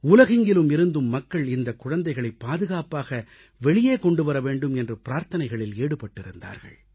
உலகெங்கிலும் இருந்தும் மக்கள் இந்தக் குழந்தைகளை பாதுகாப்பாக வெளியே கொண்டுவர வேண்டும் என்று பிரார்த்தனைகளில் ஈடுபட்டிருந்தார்கள்